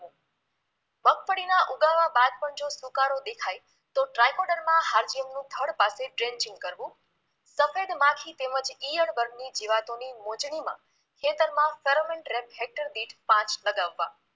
ઉગવા બાદ જો સુકારો દેખાય તો દ્રાયપોડીન માં હાલ્કીનનું થડ પાસે ડ્રીન્ચીંગ કરવું સફેદ માખી તેમજ ઈયળ વર્ગની જીવાતોની મોજણીમાં ખેતરમાં ફેરોમેેંટ રેક્ટ હેક્ટરદીઠ પાંંચ લગાવવા